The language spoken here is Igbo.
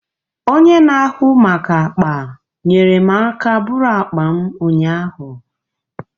Onye n'ahụ maka akpa nyere m aka bụrụ akpa m ụnyaahụ